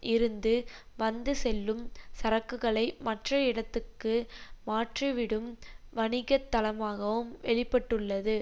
இருந்து வந்து செல்லும் சரக்குகளை மற்ற இடத்துக்கு மாற்றிவிடும் வணிக தளமாகவும் வெளி பட்டுள்ளது